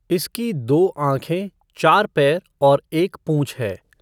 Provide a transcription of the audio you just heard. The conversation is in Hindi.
इसकी दो आँखे, चार पैर और एक पूॅछ है।